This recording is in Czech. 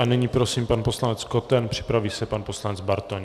A nyní prosím, pan poslanec Koten, připraví se pan poslanec Bartoň.